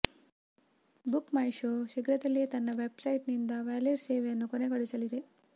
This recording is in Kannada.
ಬುಕ್ ಮೈ ಶೋ ಶೀಘ್ರದಲ್ಲಿಯೇ ತನ್ನ ವೆಬ್ ಸೈಟ್ ನಿಂದ ವಾಲೆಟ್ ಸೇವೆಯನ್ನು ಕೊನೆಗೊಳಿಸಲಿದೆ